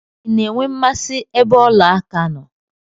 I na-enwe mmasị ebe ọla aka nọ?